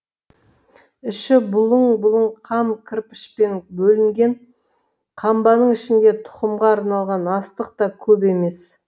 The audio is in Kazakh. іші бұлың бұлың қам кірпішпен бөлінген қамбаның ішінде тұқымға арналған астық та көп емес